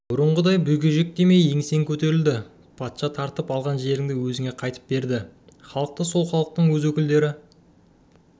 бұрынғыдай бүгежектемей еңсең көтеріледі патша тартып алған жерінді өзіңе қайтып береді халықты сол халықтың өз өкілдері